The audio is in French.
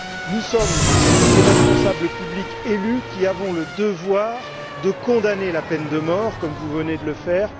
Nous sommes des responsables publics élus qui avons le devoir de condamner la peine de mort, comme vous venez de le faire.